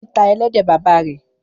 Fọlábí tá ẹlẹ́dẹ̀ bàbá rẹ̀.